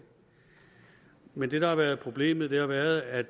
men det der har været problemet har været at